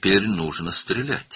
İndi atəş etmək lazımdır.